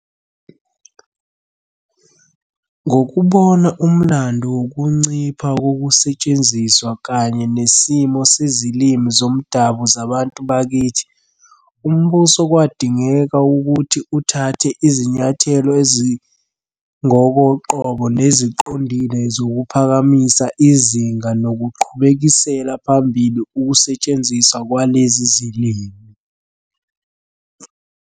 Ngokubona umlando wokuncipha kokusetshenziswa kanye nesimo sezilimi zomdabu zabantu bakithi, umbuso kwadingeka ukuthi uthathe izinyathelo ezingokoqobo neziqondile zokuphakamisa izinga nokuqhubekisela phambili ukusetshenziswa kwalezi zilimi.